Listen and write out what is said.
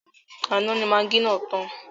Àná ni magí náà tàn.